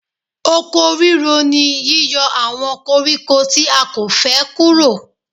Oko ríro ni yíyọ àwọn koríko tí a kò fẹ́ kúrò.